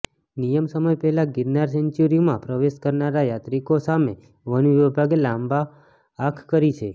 નિયમ સમય પહેલા ગીરનાર સેન્ચુરીમાં પ્રવેશ કરનાર યાત્રિકો સામે વન વિભાગે લાલા આંખ કરી છે